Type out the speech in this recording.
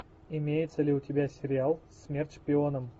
имеется ли у тебя сериал смерть шпионам